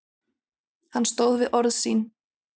Hann stóð við orð sín.